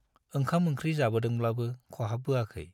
ओंखाम ओंख्रि जाबोदोंब्लाबो खहाबबोआखै।